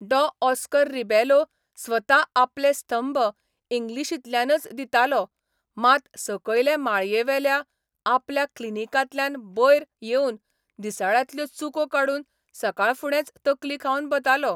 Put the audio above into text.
डॉ Oscar Rebelo स्वता आपले स्तंभ इंग्लिशींतल्यानच दितालो मात सकयले माळयेवेल्या आपल्या 'क्लिनिकांतल्यान बयर येवन दिसाळ्यांतल्यो चुको काडून सकाळफुडेंच तकली खावन बतालो.